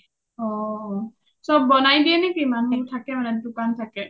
অ অ চ’ব বনাই দিয়ে নে কি ? মানুহ বোৰ থাকে মানে দুকান থাকে?